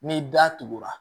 Ni da tugura